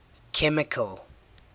chemical